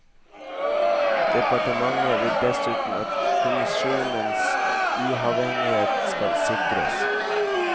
Departementet vil dessuten at kommisjonenes uavhengighet skal sikres.